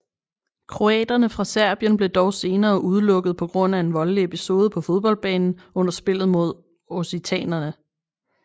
Kroaterne fra Serbien blev dog senere udelukket på grund af en voldelig episode på fodboldbanen under spillet mod occitanere